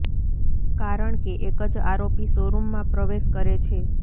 કારણ કે એક જ આરોપી શો રૂમમાં પ્રવેશ કરે છે